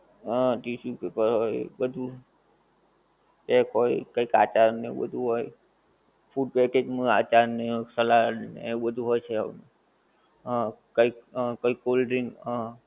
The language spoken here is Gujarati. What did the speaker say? હા tissue paper હોય બધુ, ટેપ હોય કઈ કાંટા ને એવું બધુ હોય, food package નું આચાર ને સલાડ ને એવું બધુ હોય છે. હં કઈક હં કઈક cold drink